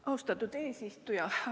Austatud eesistuja!